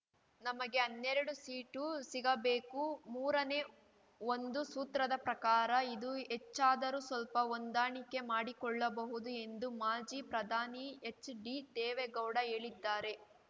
ನಮಗೆ ಹನ್ನೆರಡು ಸೀಟು ಸಿಗಬೇಕು ಮೂರನೇ ಒಂದು ಸೂತ್ರದ ಪ್ರಕಾರ ಇದು ಹೆಚ್ಚಾದರೂ ಸ್ವಲ್ಪ ಹೊಂದಾಣಿಕೆ ಮಾಡಿಕೊಳ್ಳಬಹುದು ಎಂದು ಮಾಜಿ ಪ್ರಧಾನಿ ಎಚ್‌ಡಿ ದೇವೇಗೌಡ ಹೇಳಿದ್ದಾರೆ